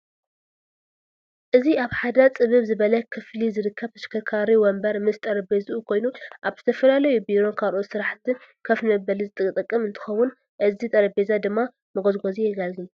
እዚ አብ ሐደ ፅብብ ዝበለ ክፍሊ ዝርከብ ተሽከርካሪ ወንበር ምስ ጠረጴዝኡ ኮይኑ አብ ዝተፈላለዩ ቢሮን ካልኦት ስርሐትን ኮፍ ንመበሊ ዝጠቅም እንትኾን እቲ ጠረጴዛ ድማ መጎዝጎዚ የጋልግል።